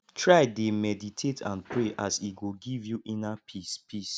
try dey meditate and pray as e go giv yu inner peace peace